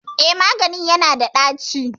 Eh maganin yana da ɗaci